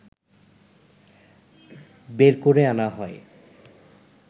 বের করে আনা হয়